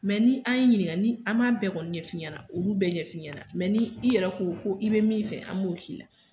ni an y'i ɲininka ni an b'a bɛɛ kɔni ɲɛfɔ i ɲɛna olu bɛɛ ɲɛfɔ i ɲɛna ni i yɛrɛ ko ko i be min fɛ an b'o k'i la.